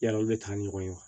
Yala olu bɛ taa ni ɲɔgɔn ye wa